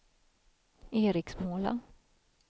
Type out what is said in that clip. Eriksmåla